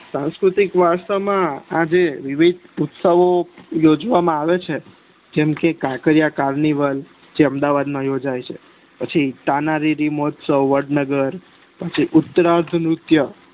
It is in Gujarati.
સાંસ્કૃતિક વારસામાં આજે વિવિધ ઉસ્ત્વો યોજવામાં આવે છે જેમકે કાંકરિયા કાર્નિવલ જે અમદાવાદ માં યોજાય છે પછી તાનારીરી મહોત્સવ વડનગર જે ઉતરાત્ર નુત્ય